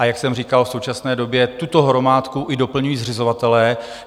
A jak jsem říkal, v současné době tuto hromádku i doplňují zřizovatelé.